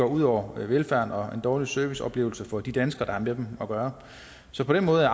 ud over velfærden og giver en dårlig serviceoplevelse for de danskere de med at gøre så på den måde er